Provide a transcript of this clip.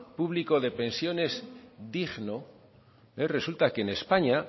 público de pensiones digno resulta que en españa